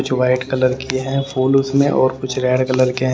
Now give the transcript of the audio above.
कुछ white colour की है फूल उसमें और कुछ रेड कलर केह--